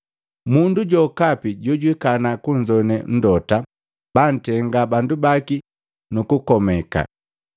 Mundu jokapi jojwikana kunzogwane Mlota baantenga bandu baki nukukomeka.’